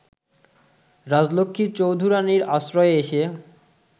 রাজলক্ষ্মী চৌধুরানীর আশ্রয়ে এসে